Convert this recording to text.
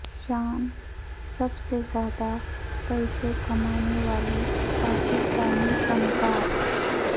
شان سب سے زیادہ پیسے کمانے والے پاکستانی فنکار